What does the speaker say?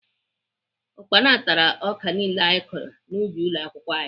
Ukpana tara ọka niile anyị kọrọ n'ubi ụlọakwụkwọ anyị